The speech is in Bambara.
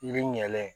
Yiri ɲɛ